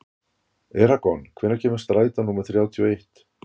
Eragon, hvenær kemur strætó númer þrjátíu og eitt?